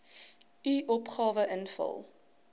u opgawe invul